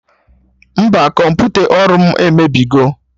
Mba, kọmputa ọrụ mụ emebigo